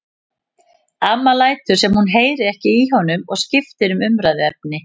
Amma lætur sem hún heyri ekki í honum og skiptir um umræðuefni.